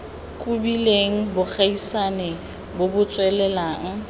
kobileng bogaisani bo bo tswelelang